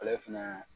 Ale fɛnɛ